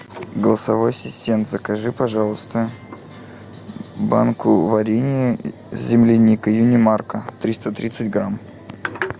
голосовой ассистент закажи пожалуйста банку варенья с земляникой юнимарко триста тридцать грамм